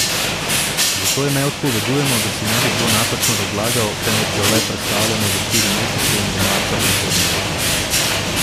Zato je ne odpovedujemo, da si ne bi kdo napačno razlagal, temveč jo le prestavljamo za štiri mesece in bo marca prihodnje leto.